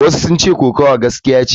Wasu sun ce kokawa gaskiya ce.